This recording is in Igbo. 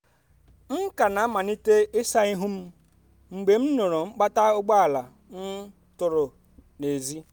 m ka na-amalite ịsa ihu m mgbe m nụụrụ mkpata ụgbọala um tụrụ n’èzí.